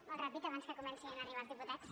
molt ràpid abans que comencin a arribar els diputats